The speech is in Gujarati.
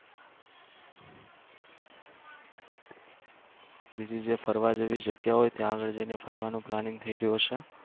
બીજી જે ફરવાની જેવી જગ્યાઓ હોય ત્યાં જઈને ફરવાનો planning થઈ રહ્યો છે.